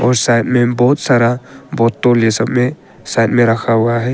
और साथ में बहुत सारा बॉटल ये सब में साइड में रखा हुआ है।